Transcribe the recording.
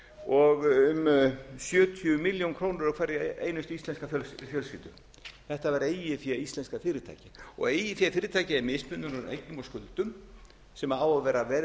og um sjötíu milljónum króna á hverja einustu íslenska fjölskyldu þetta var eigið fé íslenskra fyrirtækja og eigið fé fyrirtækja er mismunur á eignum og skuldum sem á að vera